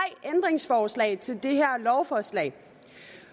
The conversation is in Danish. interessen er i til det her lovforslag